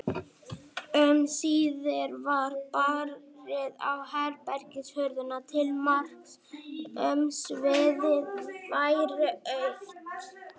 Um síðir var barið á herbergishurðina til marks um að sviðið væri autt.